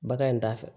Bagan in t'a fɛ